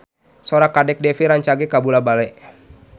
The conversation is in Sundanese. Sora Kadek Devi rancage kabula-bale